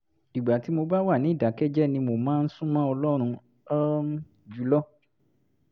ìgbà tí mo bá wà ní ìdákẹ́jẹ́ẹ́ ni mo máa ń sún mọ́ ọlọ́run um jù lọ